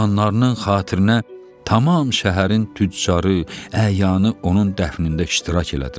Oğlanlarının xatirinə tamam şəhərin tüccarı, əyanı onun dəfnində iştirak elədilər.